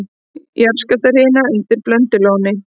Jarðskjálftahrina undir Blöndulóni